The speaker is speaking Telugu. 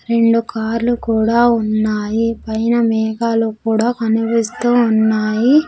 రెండు కార్లు కూడా ఉన్నాయి పైన మేఘాలు కూడా కనిపిస్తూ ఉన్నాయి.